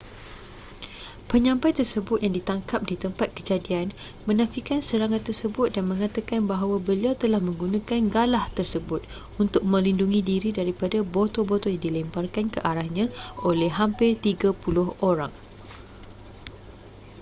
penyampai tersebut yang ditangkap di tempat kejadian menafikan serangan tersebut dan mengatakan bahawa beliau telah menggunakan galah tersebut untuk melindungi diri daripada botol-botol yang dilemparkan ke arahnya oleh hampir tiga puluh orang